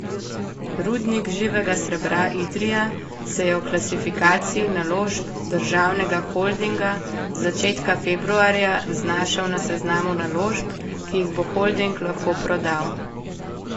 Rudnik živega srebra Idrija se je v klasifikaciji naložb državnega holdinga z začetka februarja znašel na seznamu naložb, ki jih bo holding lahko prodal.